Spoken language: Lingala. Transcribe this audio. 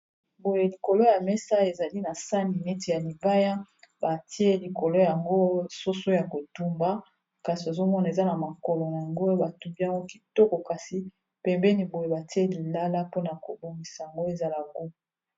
Boye likolo ya mesa ezali na sani neti ya libaya batie likolo yango soso ya kotumba kasi ozomona eza na makolo na yango batumbi yango kitoko kasi pembeni boye batie Lilala mpona kobongisa yango ezala gu.